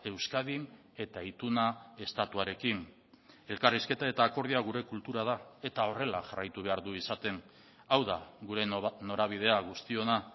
euskadin eta ituna estatuarekin elkarrizketa eta akordioa gure kultura da eta horrela jarraitu behar du izaten hau da gure norabidea guztiona